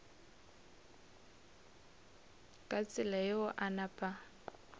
ka tsela yeo a napa